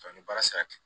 ni baara sera